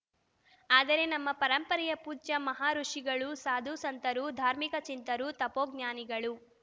ಆದರೆ ನಮ್ಮ ಪರಂಪರೆಯ ಪೂಜ್ಯ ಮಹಾಋುಷಿಗಳು ಸಾಧು ಸಂತರು ಧಾರ್ಮಿಕ ಚಿಂತಕರು ತಪೋಜ್ಞಾನಿಗಳು